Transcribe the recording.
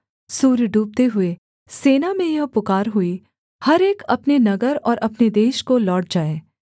सूर्य डूबते हुए सेना में यह पुकार हुई हर एक अपने नगर और अपने देश को लौट जाए